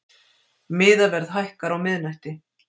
Miðaverð hækkar á miðnætti